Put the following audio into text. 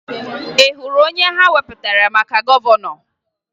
Ị hụrụ onye ha wepụtara maka gọvanọ?